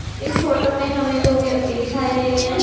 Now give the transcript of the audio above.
इस फोटो में हमें दो व्यक्ति दिखाई दे रहे हैं।